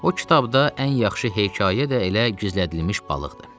O kitabda ən yaxşı hekayə də elə gizlədilmiş balıqdır.